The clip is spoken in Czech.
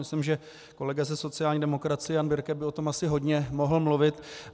Myslím, že kolega ze sociální demokracie Jan Birke by o tom asi hodně mohl mluvit.